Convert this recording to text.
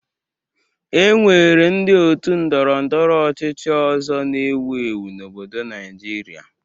E nwere ndị otu Ndọrọ ndọrọ ọchịchị ọzọ na-ewu ewu n'obodo Naịjirịa